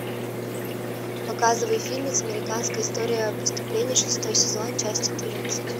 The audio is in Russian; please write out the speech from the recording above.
показывай фильмец американская история преступлений шестой сезон часть четырнадцать